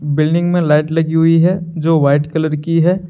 Building में light लगी हुई है जो व्हाइट कलर की है।